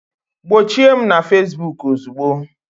Gbochie m na Facebook ozugbo!